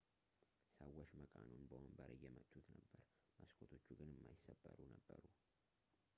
ሰዎች መቃኑን በወንበር እየመቱት ነበር መስኮቶቹ ግን የማይሰበሩ ነበሩ